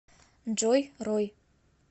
джой рой